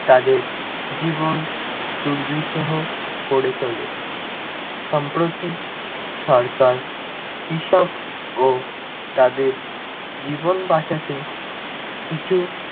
তাদের জীবন দুর্বিষহ করে তোলে। সম্প্রতি সরকার কৃষক ও তাদের জীবন বাঁচাতে, কিছু